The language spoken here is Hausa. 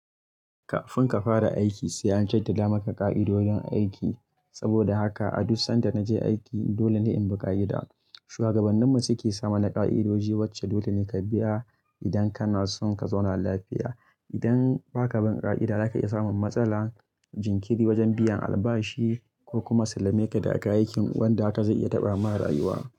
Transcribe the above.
Kafin ka fara aiki sai an jaddada maka ƙa'idodin aiki. Saboda haka a duk sanda na je aiki dole ne in bi ƙa'ida. Shugabanninmu su ke samana ƙa'idoji wacce dole ne ka biya idan kana son ka zauna lafiya. Idan ba ka bi ƙa'ida za ka iya samun matsala, jinkiri wajen biyan albashi ko kuma sallame ka daga aikin wanda haka zai iya taɓa marayuwa.